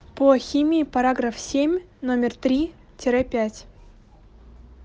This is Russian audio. по химии параграф семь номер три тире пять